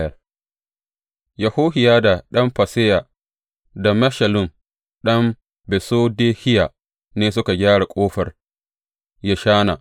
Yohiyada ɗan Faseya, da Meshullam ɗan Besodehiya ne suka gyara Ƙofar Yeshana.